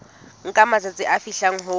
nka matsatsi a fihlang ho